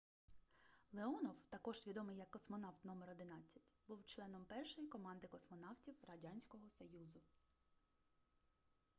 леонов також відомий як космонавт №11 був членом першої команди космонавтів радянського союзу